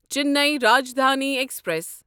Chennai Rajdhani express